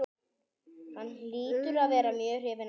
Hún hlýtur að vera mjög hrifin af honum.